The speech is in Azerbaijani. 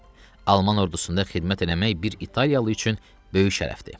Alman ordusunda xidmət eləmək bir italyalı üçün böyük şərəfdir.